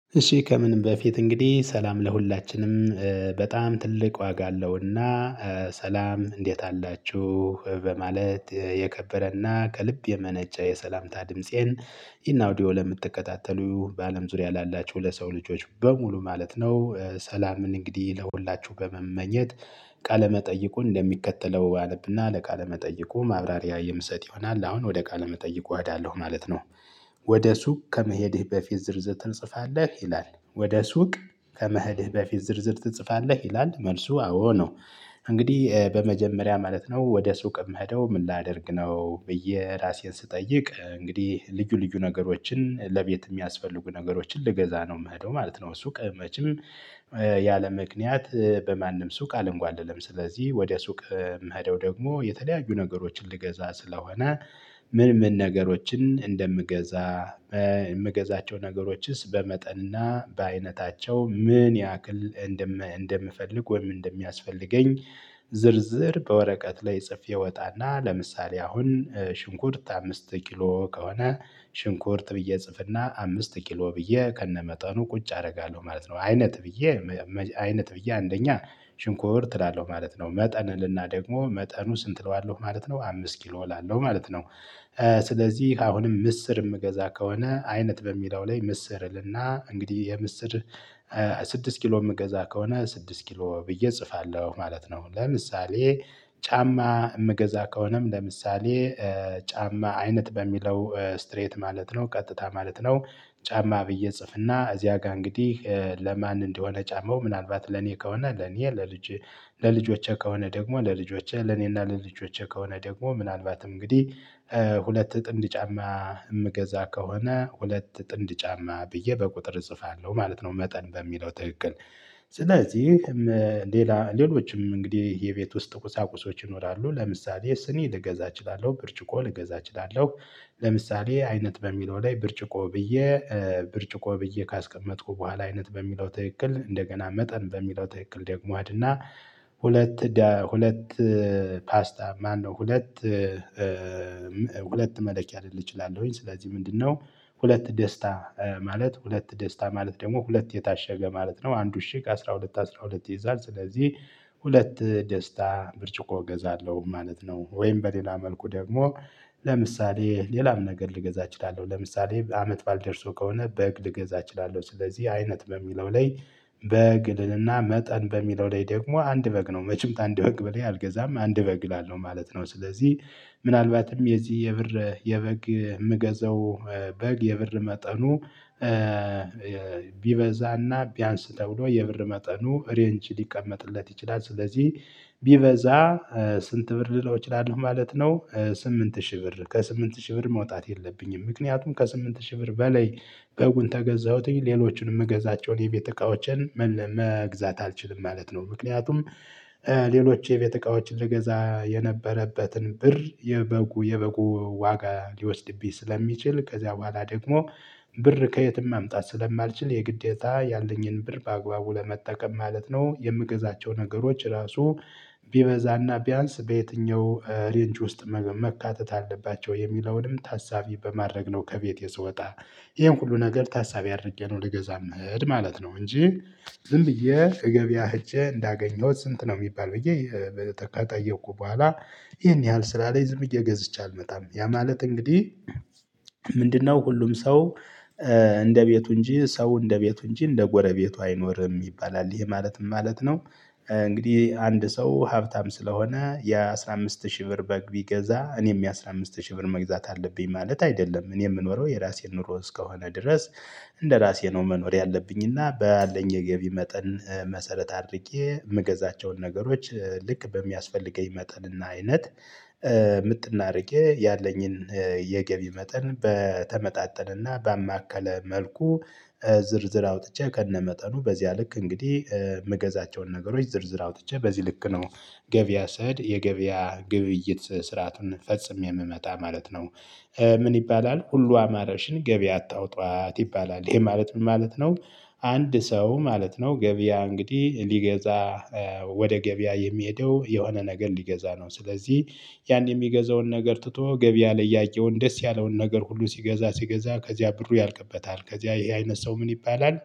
እሺ ከምንም በፊት እንግዲህ ሰላም ለሁላችንም በጣም ትልቅ ዋጋ አለውና። ሰላም እንዴት አላችሁ በማለት የከበረና ከልብ የመነጨ የሰላምታ ድምፄን። ይህን አውዲዬ ለምትከታተሉ በአለም ዙሪያ ላላቸው ለሰው ልጆች በሙሉ ማለት ነው። ሰላምን እንግዲህ ለሁላችሁ በመመኘት። ቃለ መጠይቁን እንደሚከተለው አነብና ለቃለ መጠይቁ ማብራሪያ የምሰጥ ይሆናል አሁን ወደ ቃለ መጠይቁ እሄዳለሁ ማለት ነው። ወደ ሱቅ ከመሄድህ በፊት ዝርዝር ትጽፋለህ ይላል? ወደ ሱቅ ከመህድህ በፊት ዝርዝር ትጽፋለህ ይላል መልሱ አዎ ነው። እንግዲህ በመጀመሪያ ማለት ነው ወደ ሱቅ እምሄደው ምን ላደርግ ነው? ብዬ ራሴን ስጠይቅ እንግዲህ ልዩ ልዩ ነገሮችን ለቤት የሚያስፈልጉ ነገሮችን ልገዛ ነው የምሄደው ማለት ነው። ሱቅ መቼም ያለምክንያት በማንም ሱቅ አልንጓደልም። ስለዚህ ወደ ሱቅ ምሄደው ደግሞ የተለያዩ ነገሮችን ልገዛ ስለሆነ። ምን ምን ነገሮችን እንደምገዛ። የምገዛቸው ነገሮችስ በመጠንና በአይነታቸው ምን ያክል እንደምፈልግ ወይም እንደሚያስፈልገኝ። ዝርዝር በወረቀት ላይ ጽፌ እወጣና ለምሳሌ አሁን ሽንኩርት አምስት ኪሎ ከሆነ ሽንኩርት ብዬ ጽፍና አምስት ኪሎ ብዬ ከነመጠኑ ቁጭ አደርጋለሁ ማለት ነው። አይነት ብዬ አይነት ብዬ አንደኛ ሽንኩርት እላለሁ ማለት ነው መጠን እልና ደግም መጠኑ ስንት እለዋለሁ ማለት ነው አምስት ኪሎ እላለሁ ማለት ነው። ስለዚህ አሁንም ምስር የምገዛ ከሆነ አይነት በሚለው ላይ ምስር እልና እንግዲህ የምስር ስድስት ኪሎ የምገዛ ከሆነ ስድስት ኪሎ ብዬ እጽፋለሁ ማለት ነው። ለምሳሌ ጫማ የምገዛ ከሆነም ለምሳሌ ጫማ አይነት በሚለው ስትሬት ማለት ነው ቀጥታ ማለት ነው። ጫማ ብዬ ጽፍና እዚያ ጋር እንግዲህ ለማን እንደሆነ ጫማው ምናልባት ለኔ ከሆነ ለኔ ለልጆቼ ከሆነ ደግሞ ለልጆቼ ለኔና ለልጆቼ ከሆነ ደግሞ ምናልባትም እንግዲህ ጥንድ ጫማ የምገዛ ከሆነ ሁለት ጥንድ ጫማ ብዬ በቁጥር እጽፋለሁ ማለት ነው። መጠን በሚለው ትክክል። ስለዚህ ሌላ ሌሎችም እንግዲህ የቤት ውስጥ ቁሳቁሶች ይኖራሉ ለምሳሌ ስኒ ልገዛ እችላለሁ ብርጭቆ ልገዛ እችላለሁ። ለምሳሌ አይነት በሚለው ላይ ብርጭቆ ብዬ ብርጭቆ ብዬ ካስቀመጥኩ በኋላ አይነት በሚለው ትክክል እንደገና መጠን በሚለው ትክክል ደግሞ እሄድና ሁለት ሁለት ፓስታ ማነው ሁለት ሁለት መለኪያ ልል እችላለሁኝ። ስለዚህ ምንድነው? ሁለት ደስታ ማለት ሁለት ደስታ ማለት ደግሞ ሁለት የታሸገ ማለት ነው። አንድ እሺግ አስራ ሁለት አስራ ሁለት ይይዛል ስለዚህ ሁለት ደስታ ብርጭቆ እገዛለሁ ማለት ነው። ወይም በሌላ መልኩ ደግሞ ለምሳሌ ሌላም ነገር ልገዛ እችላለሁ ለምሳሌ አመት ባል ደርሶ ከሆነ በግ ልገዛ እችላለሁ። ስለዚህ አይነት በሚለው ላይ በግ ልልና መጠን በሚለው ላይ ደግሞ አንድ በግ ነው መቸም አንድ በግ በላይ አልገዛም አንድ በግ እላለሁ ማለት ነው። ስለዚህ ምናልባትም የዚህ የብር የበግ የምገዘው በግ የብር መጠኑ ቢበዛና ቢያንስ ተብሎ የብር መጠኑ ሬንጅ ሊቀመጥለት ይችላል። ስለዚህ ቢበዛ ስንት ብር ልለው እችላለሁ ማለት ነው። ስምንት ሺህ ብር ከስምንት ሺህ ብር መውጣት የለብኝም ምክንያቱም ከስምንት ሺህ ብር በላይ በጉን ከገዛሁትኝ ሌሎችንም የምገዛቸውን የቤት እቃዎችን መግዛት አልችልም ማለት ነው። ምክንያቱም ሌሎች የቤት እቃዎችን ልገዛ የነበረበትን ብር የበጉ የበጉ ዋጋ ሊወስድብኝ ስለሚችል ከዚያ በኋላ ደግሞ ብር ከየትም ማምጣት ስለማልችል የግዴታ ያለኝን ብር በአግባቡ ለመጠቀም ማለት ነው። የምገዛቸው ነገሮች ራሱ ቢበዛና ቢያንስ በየትኛው ሬንጅ ውስጥ መካተት አለባቸው የሚለውንም ታሳቢ በማድረግ ነው። ከቤቴ ስወጣ ይሄን ሁሉ ነገር ታሳቢ አድርጌ ነው ልገዛ እምሄድ ማለት ነው። እንጂ ዝም ብዬ ከገበያ ህጄ እንዳገኘሁት ስንት ነው የሚባል ብዬ ከጠየቅኩ በኋላ ይሄን ያህል ስላለኝ ዝም ብየ ገዝቸ አልመጣም። ያ ማለት እንግዲህ ምንድነው? ሁሉም ሰው እንደቤቱ እንጂ ሰው እንደቤቱ እንጂ እንደጎረቤቱ አይኖርም ይባላል ይሄ ማለትም ማለት ነው። እንግዲህ አንድ ሰው ሀብታም ስለሆነ የአሥራ አምስት ሺህ ብር በግ ቢገዛ እኔም የአሥራ አምስት ሺህ ብር መግዛት አለብኝ ማለት አይደለም እኔ የምኖረው የራሴን ኑሮ እስከሆነ ድረስ። እንደራሴ ነው መኖር ያለብኝና ባለኝ የገቢ መጠን መሰረት አድርጌ የምገዛቸውን ነገሮች ልክ በሚያስፈልገኝ መጠን እና አይነት። ምጥን አድርጌ ያለኝን የገቢ መጠን በተመጣጠነና ባማከለ መልኩ ዝርዝር አውጥቼ ከነመጠኑ በዚያ ልክ እንግዲህ ምገዛቸውን ነገሮች ዝርዝር አውጥቼ በዚህ ልክ ነው። ገቢያ ሰሄድ የገቢያ ግብይት ስርዓቱን ፈጽሜ የምመጣ ማለት ነው። ምን ይባላል ሁሉ አማራሽን ገበያ አታውጧት ይባላል ይሄ ማለት ምን ማለት ነው? አንድ ሰው ማለት ነው ገበያ እንግዲህ ሊገዛ ወደ ገበያ የሚሄደው የሆነ ነገር ሊገዛ ነው። ስለዚህ ያን የሚገዛውን ነገር ትቶ ገበያ ላይ ያየውን ደስ ያለውን ነገር ሁሉ ሲገዛ ሲገዛ ከዚያ ብሩ ያልቅበታል። ከዚያ ይሄ አይነት ሰው ምን ይባላል